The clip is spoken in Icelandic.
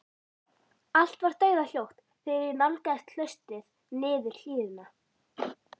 Allt var dauðahljótt þegar ég nálgaðist klaustrið niður hlíðina.